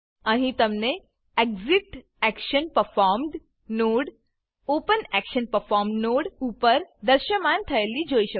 અહીં તમને exit action performed node open action performed node ઉપર દૃશ્યમાન થયેલી જોઈ શકો છો